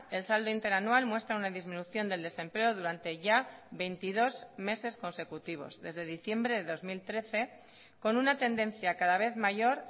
el saldo interanual muestra una disminución del desempleo durante ya veintidós meses consecutivos desde diciembre de dos mil trece con una tendencia cada vez mayor